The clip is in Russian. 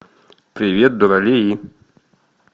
привет дуралеи